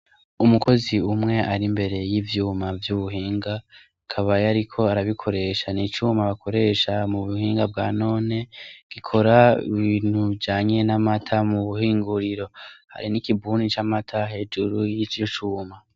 Umukozi umwe ari imbere y'ivyuma vy'ubuhinga kabaye, ariko arabikoresha n'icuma bakoresha mu buhinga bwa none gikora bintujanye namata mu buhinguriro hari n'ikibuni camata hejuru y'icicuma.